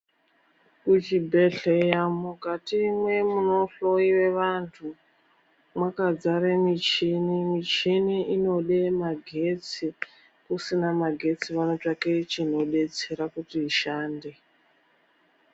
Kuchibhedhleya mukati mwemunohloiwa vantu, mwakadzare michini, michini inode magetsi. Kusina Magetsi vanotsvake chinodetsera kuti ishande.